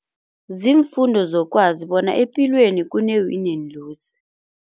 Ziimfundo zokwazi bona epilweni kune-win and lose.